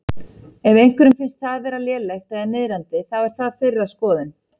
Ef einhverjum finnst það vera lélegt eða niðrandi, þá er það þeirra skoðun.